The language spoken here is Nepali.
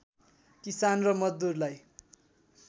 किसान र मजदुरलाई